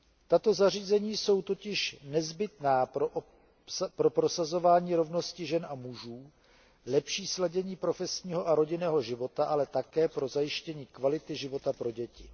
Tato zařízení jsou totiž nezbytná pro prosazování rovnosti žen a mužů, lepší sladění profesního a rodinného života, ale také pro zajištění kvality života pro děti.